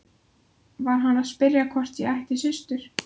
Var hann að spyrja hvort ég ætti systur?